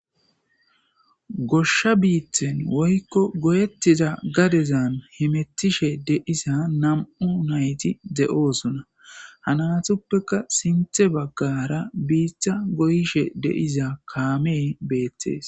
Goshsha biithen woykko goyettiza gadezan himettishe deisa nam'u nayti de'oosuna hananatuppeka sinthe baggara biiththa goyishe deiza kaamey beettees